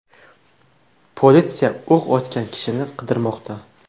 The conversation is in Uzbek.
Politsiya o‘q otgan kishini qidirmoqda.